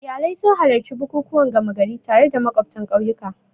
Iyalai sun halarci bukukuwan gama gari tare da makwabtan ƙauyuka.